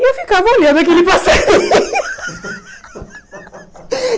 E eu ficava olhando aquele passarinho.